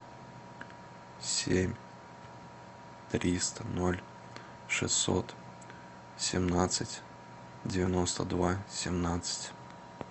семь триста ноль шестьсот семнадцать девяносто два семнадцать